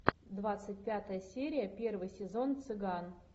двадцать пятая серия первый сезон цыган